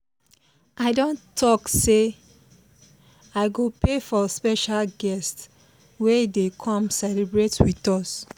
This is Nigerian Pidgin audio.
i don take say i go pay for special guest we dey come celebrate with us